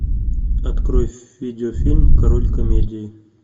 открой видеофильм король комедии